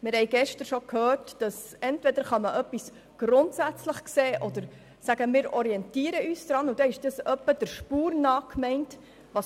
Wir haben gestern bereits gehört, dass man etwas entweder grundsätzlichbetrachten oder aber sagen kann, dass wir uns an etwas orientieren, womit etwas insgesamt der Spur nach gemeint ist.